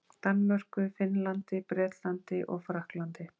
Danmörku, Finnlandi, Bretlandi og Frakklandi.